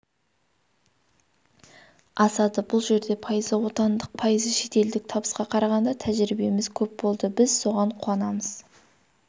асады бұл жерде пайызы отандық пайызы шетелдік табысқа қарағанда тәжірибеміз көп болды біз соған қуанамыз